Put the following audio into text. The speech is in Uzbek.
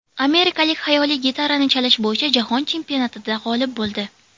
Amerikalik xayoliy gitarani chalish bo‘yicha jahon chempionatida g‘olib bo‘ldi.